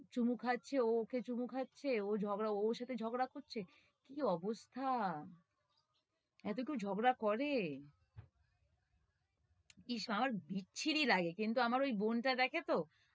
চুমো খাচ্ছে, ও ওকে চুমো খাচ্ছে, ও ঝগড়া, ওর সাথে ঝগড়া করছে কি অবস্থা! এতো কেও ঝগড়া করে? ইস্ আমার বিচ্ছিরি লাগে কিন্তু আমার ওই বোনটা দেখে তো,